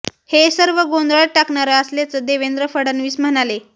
हे सर्व गोंधळात टाकणारं असल्याचं देवेंद्र फडणवीस म्हणाले